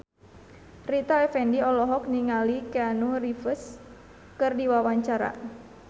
Rita Effendy olohok ningali Keanu Reeves keur diwawancara